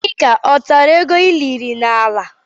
Akịka ọ tàrà égo iliri n'ala?